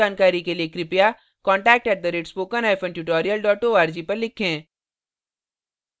अधिक जानकारी के लिए कृपया contact @spokentutorial org पर लिखें